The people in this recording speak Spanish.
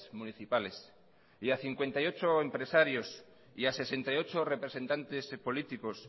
municipales a cincuenta y ocho empresarios a sesenta y ocho representantes políticos